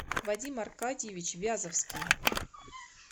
вадим аркадьевич вязовский